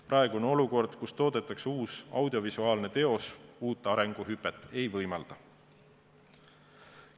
Praegune olukord, kus toodetakse uus audiovisuaalne teos, uut arenguhüpet ei võimalda.